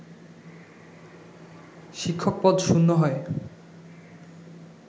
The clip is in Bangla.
শিক্ষক পদ শূন্য হয়